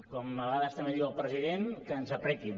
com a vegades també diu el president que ens apretin